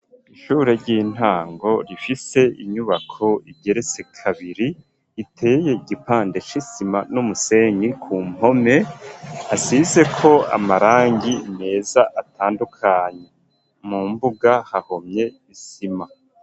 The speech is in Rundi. Ishure ry'intango rifise inyubako igeretse kabiri iteye igipande c'isima n'umusenyi ku mpome hasizeko amarangi meza atandukanye mu mbuga hahomye isima.